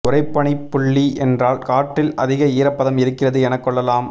உறைபனிப் புள்ளி என்றால் காற்றில் அதிக ஈரப்பதம் இருக்கிறது எனக் கொள்ளலாம்